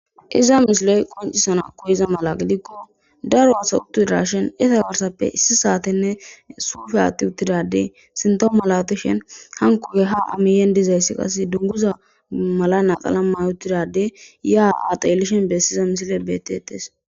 Iza misileyi qoncisana koyiza mala gidiko darro assayi eqi utidishini iza garisape issi satene sufe athi utid sintawu malatishini hankoyi ha aa miyeni dizayisi dunguza mayi utida adey ya ha xelishini besiza misile betetesi